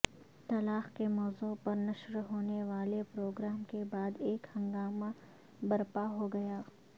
طلاق کے موضوع پر نشر ہونے والے پروگرام کے بعد ایک ہنگامہ برپا ہو گیا